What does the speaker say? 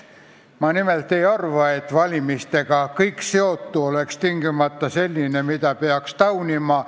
Ma nimelt ei arva, et kõik valimistega seotu on tingimata selline, mida peaks taunima.